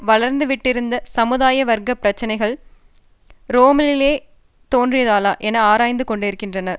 வளர்ந்துவிட்டிருந்த சமுதாய வர்க்க பிரச்சினைகள் ரோமிலேயே தோன்றியதாலா என ஆராய்ந்து கொண்டிருக்கின்றனர்